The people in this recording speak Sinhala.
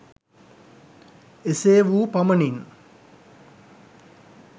එසේ වූ පමණින්